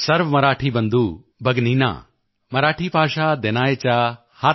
ਸਰਵ ਮਰਾਠੀ ਬੰਧੁ ਭਗਿਨਿਨਾ ਮਰਾਠੀ ਭਾਸ਼ਾ ਦਿਨਾਚਯਾ ਹਾਰਦਿਕ ਸ਼ੁਭੇੱਛਾ